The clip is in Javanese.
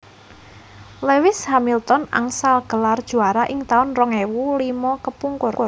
Lewis Hamilton angsal gelar juara ing taun rong ewu limo kepungkur